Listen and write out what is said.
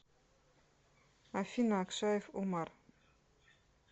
афина акшаев умар